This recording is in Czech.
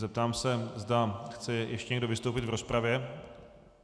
Zeptám se, zda chce ještě někdo vystoupit v rozpravě.